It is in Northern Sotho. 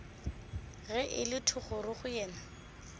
ge e le thogorogo yena